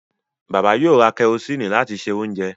Bàbá yóò ra kẹrosíìnì láti se oúnjẹ